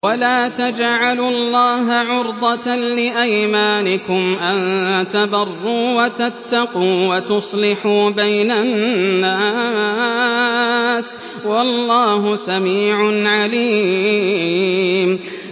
وَلَا تَجْعَلُوا اللَّهَ عُرْضَةً لِّأَيْمَانِكُمْ أَن تَبَرُّوا وَتَتَّقُوا وَتُصْلِحُوا بَيْنَ النَّاسِ ۗ وَاللَّهُ سَمِيعٌ عَلِيمٌ